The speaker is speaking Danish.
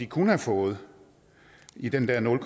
kunne have fået i den der nul